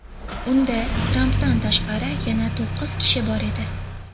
Unda, Trampdan tashqari, yana to‘qqiz kishi bor edi.